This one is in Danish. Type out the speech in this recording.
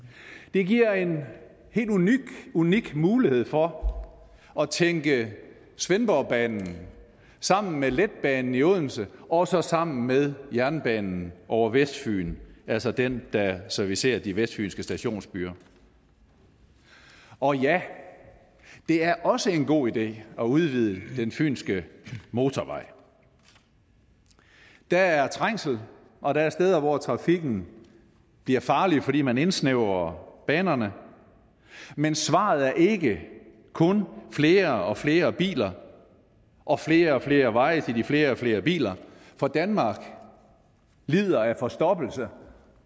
det giver en helt unik mulighed for at tænke svendborgbanen sammen med letbanen i odense og så sammen med jernbanen over vestfyn altså den der servicerer de vestfynske stationsbyer og ja det er også en god idé at udvide den fynske motorvej der er trængsel og der er steder hvor trafikken bliver farlig fordi man indsnævrer banerne men svaret er ikke kun flere og flere biler og flere og flere veje til de flere og flere biler for danmark lider af forstoppelse